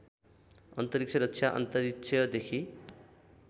अन्तरिक्ष रक्षा अन्तरिक्षदेखि